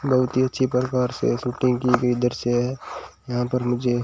बहुत ही अच्छी प्रकार से शूटिंग की गई दृश्य है यहां पर मुझे--